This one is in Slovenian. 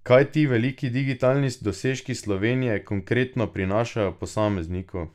Kaj ti veliki digitalni dosežki Slovenije konkretno prinašajo posamezniku?